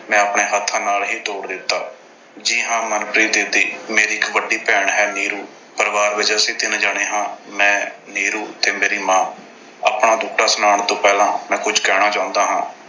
ਮੈਂ ਆਪਣੇ ਹੱਥਾਂ ਨਾਲ ਹੀ ਤੋੜ ਦਿੱਤਾ। ਜੀ ਹਾਂ ਮਨਪ੍ਰੀਤ ਦੀਦੀ, ਮੇਰੀ ਇੱਕ ਵੱਡੀ ਭੈਣ ਹੈ ਨੀਰੂ। ਪਰਿਵਾਰ ਦੇ ਵਿੱਚ ਅਸੀਂ ਤਿੰਨ ਜਾਣੇ ਹਾਂ। ਮੈਂ, ਨੀਰੂ ਤੇ ਮੇਰੀ ਮਾਂ। ਆਪਣਾ ਦੁੱਖੜਾ ਸੁਣਾਉਣ ਤੋਂ ਪਹਿਲਾਂ ਮੈਂ ਕੁਝ ਕਹਿਣਾ ਚਾਹੁੰਦਾ ਹਾਂ।